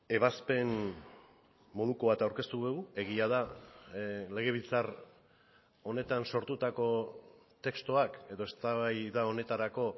ebazpen moduko bat aurkeztu dugu egia da legebiltzar honetan sortutako testuak edo eztabaida honetarako